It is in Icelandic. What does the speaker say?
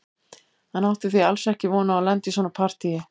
Hann átti því alls ekki von á að lenda í svona partíi.